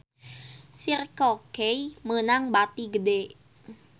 Circle K meunang bati gede